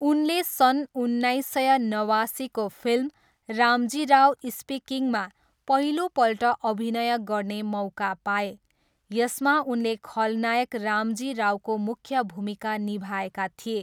उनले सन् उन्नाइस सय नवासीको फिल्म रामजी राव स्पिकिङमा पहिलोपल्ट अभिनय गर्ने मौका पाए, यसमा उनले खलनायक रामजी रावको मुख्य भूमिका निभाएका थिए।